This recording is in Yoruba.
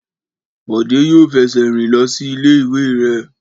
Bọ̀dé yóò fẹsẹ̀ rìn lọ sí ilé ìwé rẹ̀